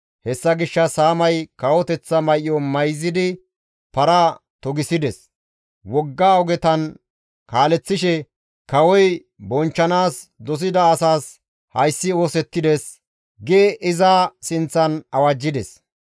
Hessa gishshas Haamay kawoteththa may7o mayzidi para togisides; wogga ogetan kaaleththishe, «Kawoy bonchchanaas dosida asas hayssi oosettides» gi iza sinththan awajjides.